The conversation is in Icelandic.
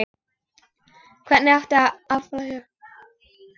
Hvernig átti að afla fjár?